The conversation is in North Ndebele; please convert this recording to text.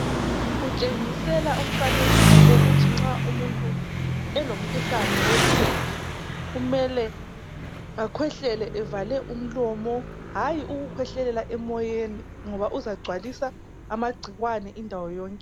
Kutshengisela umfanekiso wokuthi nxa umuntu elomkhuhlane wophepha kumele akhwehlele evale umlomo hayi ukukhwehlelela emoyeni ngoba uzagcwalisa amagcikwane indawo yonke.